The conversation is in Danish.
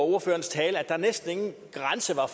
ordførerens tale at der næsten ingen grænser